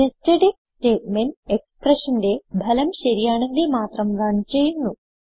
nested IF statement expressionന്റെ ഫലം ശരിയാണെങ്കിൽ മാത്രം റൺ ചെയ്യുന്നു